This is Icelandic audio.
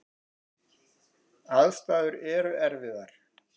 Aðstæður eru erfiðar.